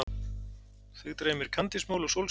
Þig dreymir kandísmola og sólskin.